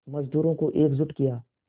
मज़दूरों को एकजुट किया